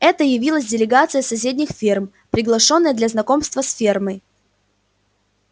это явилась делегация с соседних ферм приглашённая для знакомства с фермой